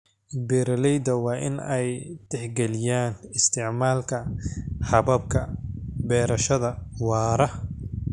Beeraleyda waa in ay tixgeliyaan isticmaalka hababka beerashada waara.